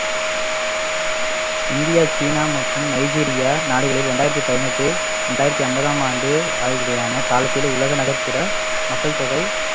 India, China மற்றும் Nigeria நாடுகளில் இரண்டாயிரத்து பதினெட்டு இரண்டாயிரத்து ஐம்பதாம் ஆண்டு ஆகியன காலத்தில் உலக நகர்ப்புற மக்கள் தொகை